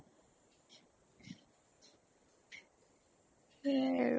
সেইয়াই আৰু